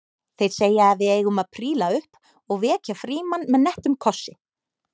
Þeir segja að við eigum að príla upp og vekja Frímann með nettum kossi